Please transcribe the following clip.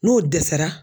N'o dɛsɛra